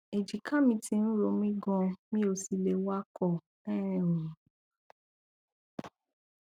èjìká mi ti ń ro mí ganan mi ò sì lè wakọ um